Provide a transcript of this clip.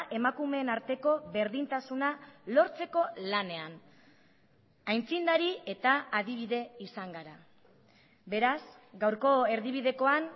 emakumeen arteko berdintasuna lortzeko lanean aitzindari eta adibide izan gara beraz gaurko erdibidekoan